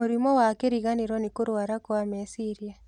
Mũrimũ wa kĩriganĩro nĩ kũrũara kwa meciria.